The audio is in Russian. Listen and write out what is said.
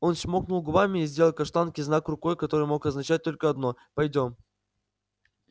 он чмокнул губами и сделал каштанке знак рукой который мог означать только одно пойдём